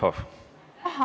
Aitäh!